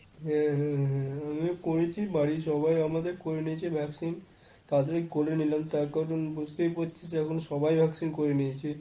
হ্যাঁ~ হ্যাঁ~ হ্যাঁ আমিও করেছি বাড়ির সবাই আমাদের করে নিয়েছে vaccine।তা ড়াতাড়ি করে নিলাম তার কারণ বুঝতেই পারছিস এখন সবাই vaccine করিয়ে নিয়েছে।